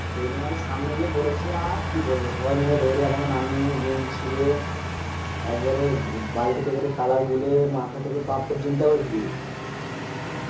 সেই জন্য আমি সামনে গিয়ে পরেছি। আর কি বলব? সবাই মিলে দরে আমাকে নামিয়ে গেঞ্জি চিড়ে একবারে বালতিতে করে Color গুলে মাথা থেকে পা পর্যন্ত একবারে বিজিয়ে দিয়েছে।